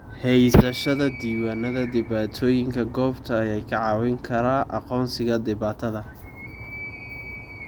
Haysashada diiwaannada dhibaatooyinka goobta ayaa kaa caawin kara aqoonsiga dhibaatada.